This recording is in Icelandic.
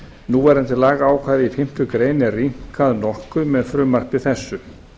núverandi lagaákvæði í fimmtu grein er rýmkað nokkuð með frumvarpi þessu